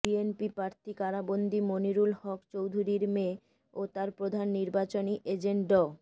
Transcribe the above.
BNP প্রার্থী কারাবন্দি মনিরুল হক চৌধুরীর মেয়ে ও তার প্রধান নির্বাচনী এজেন্ট ড